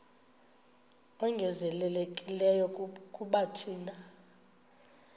ongezelelekileyo kuba thina